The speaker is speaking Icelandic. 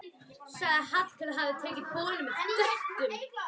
Sagðist Hallkell hafa tekið boðinu með þökkum.